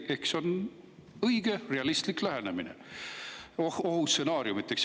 See on õige, realistlik lähenemine ohustsenaariumidele.